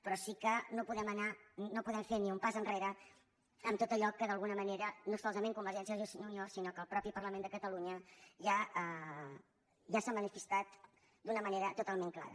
però sí que no podem anar no podem fer ni un pas enrere en tot allò en què d’alguna manera no solament convergència i unió sinó que el mateix parlament de catalunya ja s’ha manifestat d’una manera totalment clara